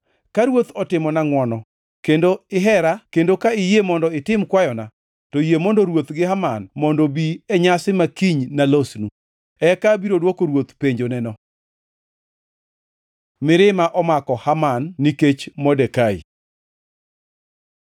Ka ruoth otimona ngʼwono kendo ihera kendo ka iyie mondo itim kwayona, to yie mondo ruoth gi Haman mondo obi e nyasi ma kiny nalosnu. Eka abiro dwoko ruoth penjoneno. Mirima omako Haman nikech Modekai